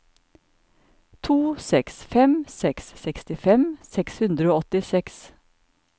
to seks fem seks sekstifem seks hundre og åttiseks